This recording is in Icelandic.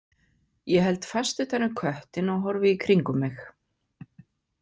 Ég held fast utan um köttinn og horfi í kringum mig.